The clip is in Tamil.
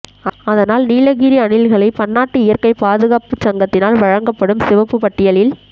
அதனால் நீலகிரி அணில்களை பன்னாட்டு இயற்கைப் பாதுகாப்புச் சங்கத்தினால் வழங்கப்படும் சிவப்புப் பட்டியலில்